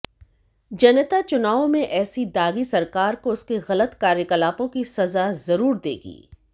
जनता चुनाव में ऐसी दागी सरकार को उसके गलत कार्यकलापों की सजा जरूर देगी